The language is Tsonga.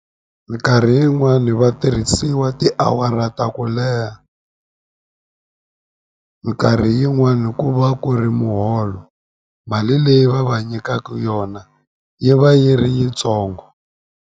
Minkarhi yin'wani vatirhisiwa tiawara ta ku leha minkarhi yin'wani ku va ku ri muholo mali leyi va va nyikaku yona yi va yi ri yitsongo.